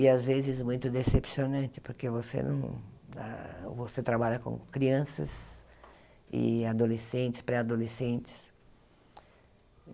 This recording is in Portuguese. E, às vezes, muito decepcionante, porque você não ah você trabalha com crianças, e adolescentes, pré-adolescentes.